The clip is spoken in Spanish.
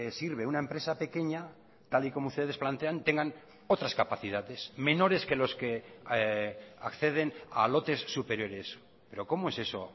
sirve una empresa pequeña tal y como ustedes plantean tengan otras capacidades menores que los que acceden a lotes superiores pero cómo es eso